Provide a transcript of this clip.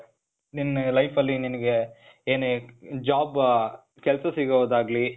ನಿನ್ನ life ಅಲ್ಲಿ ನಿನಿಗೆ ಏನೇ, job, ಕೆಲ್ಸ ಸಿಗೋದ್ ಆಗ್ಲಿ,